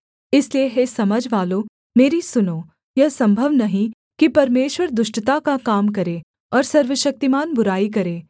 इसलिए हे समझवालों मेरी सुनो यह सम्भव नहीं कि परमेश्वर दुष्टता का काम करे और सर्वशक्तिमान बुराई करे